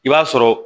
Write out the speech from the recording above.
I b'a sɔrɔ